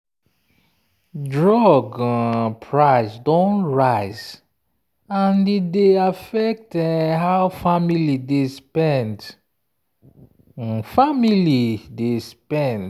drug um price don rise and e dey affect how family dey spend. family dey spend.